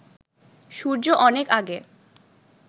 সূর্য অনেক আগে